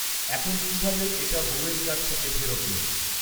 এখন কিভাবে এটা বৌএর কাছ থেকে ফেরত নেবেন